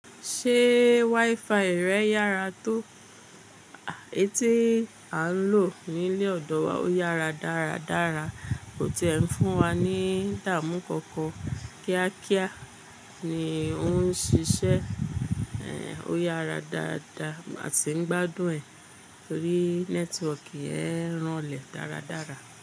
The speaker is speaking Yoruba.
Ṣé WiFi rẹ yára tó? Étí a ń lò ní ilé ọ̀dọ̀ wa ó yára dáradára, kó ti ẹ̀ ń fún wa ní dáàmù kọnkọn. Kíákíá ni òun ń ṣiṣẹ́, ẹ, ó yára dáadaa àti ń gbádùn ẹ̀ torí nẹ́tíwọ̀kì ẹ̀ ń ranlẹ̀ dáradára.